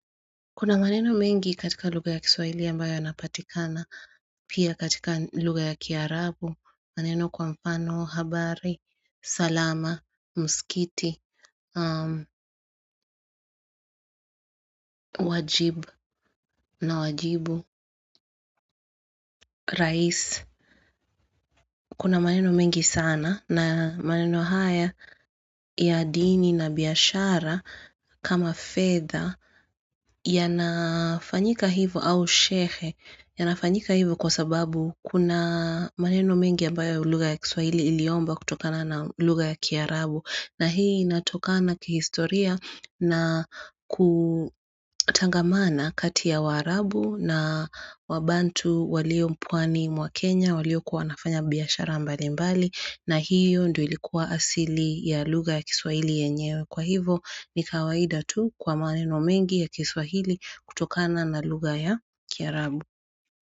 Kuna maneno mengi katika lugha ya kiswaili, ambayo yanapatikana pia katika lugha ya kiarabu, maneno kwa mfano habari, salama, msikiti wajib na wajibu, rais Kuna maneno mengi sana na maneno haya ya dini na biashara kama fedha, yanafanyika hivo, au shehe. Yanafanyika hivyo kwa sababu, kuna maneno mengi ambayo lugha ya kiswahili iliomba kutokana na lugha ya kiarabu. Na hii inatokana kihistoria, na kutangamana kati ya waarabu na wabantu, walio pwani mwa Kenya, walio kuwa wanafanya biashara mbali mbali, na hiyo ndio ilikuwa asili ya lugha ya kiswahili yenyewe. Kwa hivyo, ni kawaida tu kwa maneno mengi ya kiswahili, kutokana na lugha ya kiarabu.